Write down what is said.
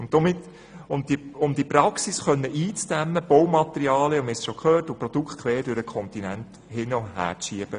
Es geht darum, die Praxis einzudämmen, Baumaterialien und Produkte quer über die Kontinente hin- und herzuschieben.